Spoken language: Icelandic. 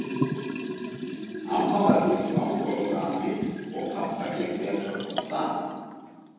Amma var ekki eins langorð og afi og pabba gekk betur að komast að.